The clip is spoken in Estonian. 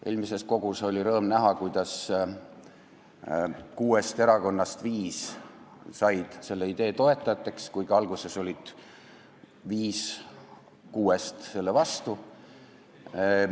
Eelmises kogus oli rõõm näha, et kuuest erakonnast viis said selle idee toetajateks, kuigi alguses olid viis kuuest selle vastu.